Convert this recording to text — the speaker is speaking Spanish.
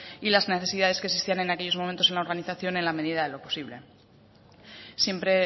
y las necesidades que existían en aquellos momentos en la organización en la medida de lo posible siempre